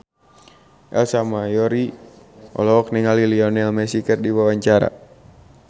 Ersa Mayori olohok ningali Lionel Messi keur diwawancara